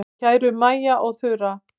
Kæru Maja og Þura.